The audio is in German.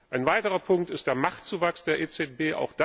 Ein weiterer Punkt ist der Machtzuwachs der EZB.